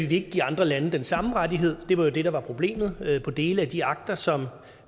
vil give andre lande den samme rettighed det var jo det der var problemet med dele af de akter som